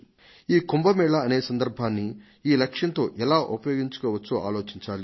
ఈ కుంభ మేళా అనే సందర్భాన్ని ఈ లక్ష్యంతో ఎలా ఉపయోగించుకోవచ్చో ఆలోచించాలి